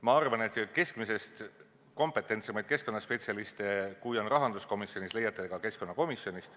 Ma arvan, et keskmisest kompetentsemaid keskkonnaspetsialiste, kui on rahanduskomisjonis, leiate ka keskkonnakomisjonist.